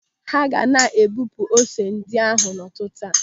Ha ga na-ebupu ose ndị ahụ n'ụtụtụ a.